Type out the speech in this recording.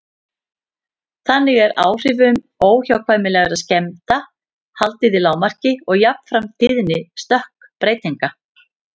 Þannig er áhrifum óhjákvæmilegra skemmda haldið í lágmarki og jafnframt tíðni stökkbreytinga.